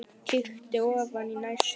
Kíkti ofan í næstu.